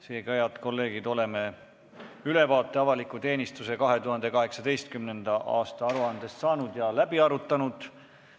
Seega, head kolleegid, oleme ülevaate avaliku teenistuse 2018. aasta aruandest saanud ja läbi arutanud.